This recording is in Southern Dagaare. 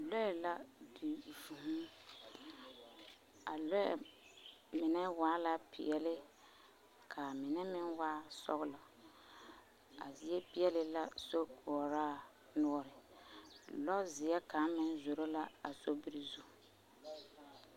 Lɔɛ la a di vŭŭ, a lɔɛ mine waa la peɛle k'a mine meŋ waa sɔgla. A zie peɛle la sokoɔraa noɔre. Lɔɔzeɛ kaŋa meŋ zoro la a sobiri zu.